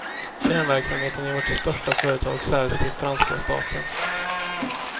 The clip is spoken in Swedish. Kärnverksamheten i vårt största företag säljs till franska staten.